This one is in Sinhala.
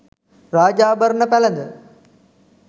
රාජාභරණ පැළඳ